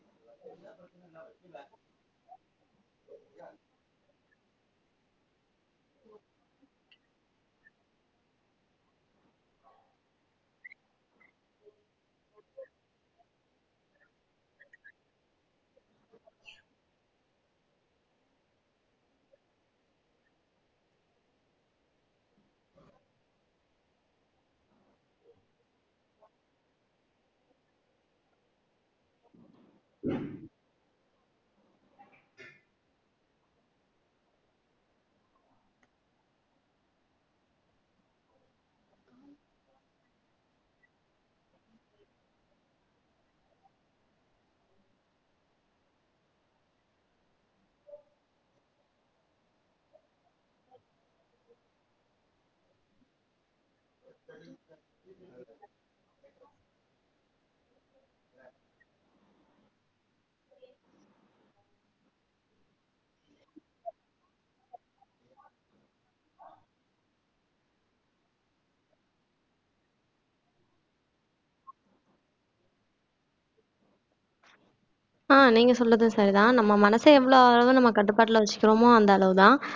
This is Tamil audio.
ஆஹ் நீங்க சொல்றது சரிதான் நம்ம மனச எவ்வளவு நம்ம கட்டுப்பாட்டுல வச்சுக்கிறோமோ அந்த அளவுதான்